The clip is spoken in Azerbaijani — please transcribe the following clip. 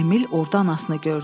Emil orda anasını gördü.